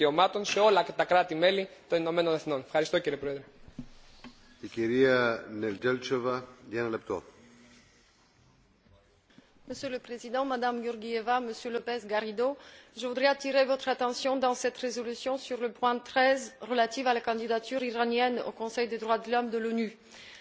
Monsieur le Président, Madame Georgieva, Monsieur López Garrido, je voudrais attirer votre attention dans cette résolution sur le point 13 relatif à la candidature iranienne au Conseil des droits de l'homme de l'ONU. Le 15 février dernier, l'Iran a été soumis à l'examen périodique universel qui passe en revue la situation de protection et de promotion des droits de l'homme dans le pays.